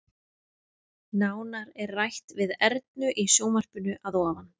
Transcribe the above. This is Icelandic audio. Nánar er rætt við Ernu í sjónvarpinu að ofan.